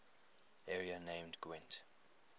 area named gwent